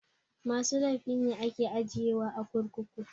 Masu laify ne ake ajiye wa a kurkuku